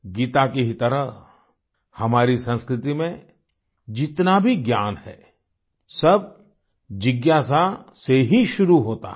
गीता की ही तरह हमारी संस्कृति में जितना भी ज्ञान है सब जिज्ञासा से ही शुरू होता है